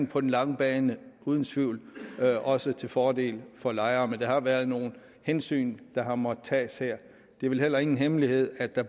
på den lange bane uden tvivl også til fordel for lejerne men der har været nogle hensyn der har måttet tages her det er vel heller ingen hemmelighed at der